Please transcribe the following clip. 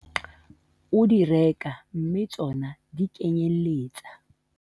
o di reka mme tsona di kenyelletsa